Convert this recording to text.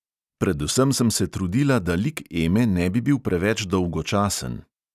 Predvsem sem se trudila, da lik eme ne bi bil preveč dolgočasen.